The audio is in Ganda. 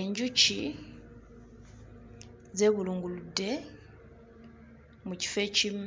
Enjuki zeebulunguludde mu kifo ekimu.